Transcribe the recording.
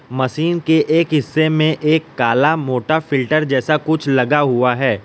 Machine के एक हिस्से में एक काला मोटा फिल्टर जैसा कुछ लगा हुआ है।